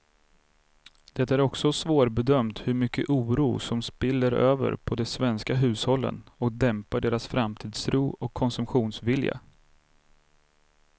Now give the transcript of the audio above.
Det är också svårbedömt hur mycket oro som spiller över på de svenska hushållen och dämpar deras framtidstro och konsumtionsvilja.